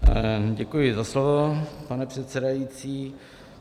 Děkuji za slovo, pane předsedající.